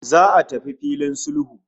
Za'a tafi yIn sulhu